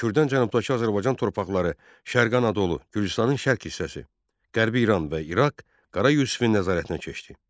Kürdən cənubdakı Azərbaycan torpaqları, Şərqi Anadolu, Gürcüstanın şərq hissəsi, Qərbi İran və İraq Qara Yusifin nəzarətinə keçdi.